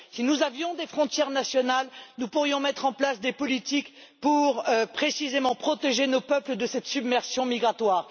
Si nous avions des frontières nationales, nous pourrions mettre en place des politiques pour protéger précisément nos peuples de cette submersion migratoire.